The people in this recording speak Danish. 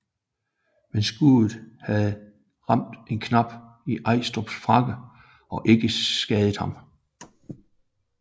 Men skuddet havde ramt en knap i Estrups frakke og ikke skadet ham